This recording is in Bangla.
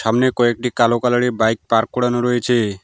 সামনে কয়েকটি কালো কালার -এর বাইক পার্ক করানো রয়েছে।